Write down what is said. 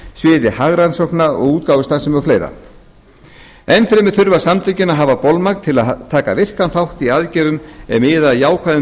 sviði hagrannsókna útgáfustarfsemi og fleiri enn fremur þurfa samtökin að hafa bolmagn til að taka virkan þátt í aðgerðum er miða að jákvæðum